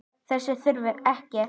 Þess þurfti ekki.